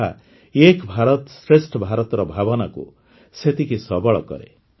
ଏହା ଏକ୍ ଭାରତ ଶ୍ରେଷ୍ଠ ଭାରତର ଭାବନାକୁ ସେତିକି ସବଳ କରେ